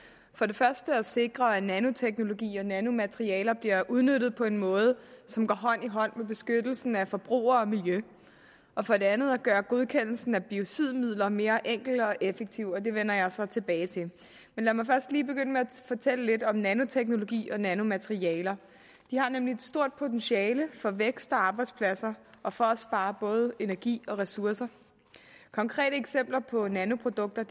for det første at sikre at nanoteknologi og nanomaterialer bliver udnyttet på en måde som går hånd i hånd med beskyttelsen af forbrugere og miljø og for det andet at gøre godkendelsen af biocidmidler mere enkel og effektiv og det vender jeg så tilbage til men lad mig først lige begynde med at fortælle lidt om nanoteknologi og nanomaterialer de har nemlig et stort potentiale for vækst og arbejdspladser og for at spare både energi og ressourcer konkrete eksempler på nanoprodukter